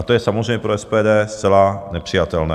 A to je samozřejmě pro SPD zcela nepřijatelné.